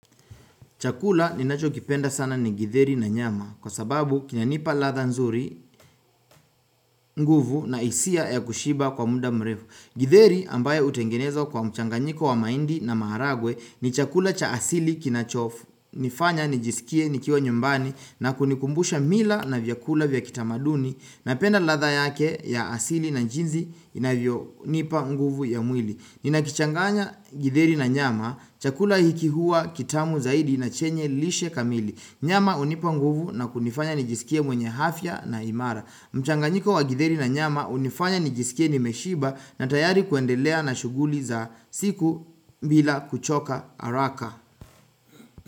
Chakula ninacho kipenda sana ni githeri na nyama kwa sababu kina nipa ladha nzuri, nguvu na hisia ya kushiba kwa muda mrefu. Githeri ambayo hutengenezwa kwa mchanganyiko wa mahindi na maharagwe ni chakula cha asili kinachofu. Nifanya, nijisikie, nikiwa nyumbani na kunikumbusha mila na vyakula vya kitamaduni. Napenda ladha yake ya asili na jinzi inavyo nipa nguvu ya mwili. Nina kichanganya githeri na nyama, chakula hiki huwa kitamu zaidi na chenye lishe kamili. Nyama hunipa nguvu na kunifanya nijisikie mwenye hafya na imara. Mchanganyiko wa githeri na nyama hunifanya nijisikie nimeshiba na tayari kuendelea na shughuli za siku bila kuchoka araka.